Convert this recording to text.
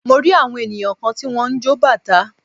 Mo rí àwọn ènìyàn kan tí wọ́n ń jọ bàtá.